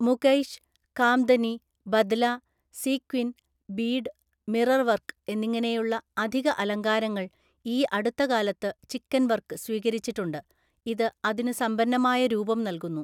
Mukaish, kamdani, badla, sequin, bead, mirror work എന്നിങ്ങനെയുള്ള അധിക അലങ്കാരങ്ങൾ ഈ അടുത്ത കാലത്ത് ചിക്കൻ വർക്ക് സ്വീകരിച്ചിട്ടുണ്ട്, ഇത് അതിനു സമ്പന്നമായ രൂപം നൽകുന്നു.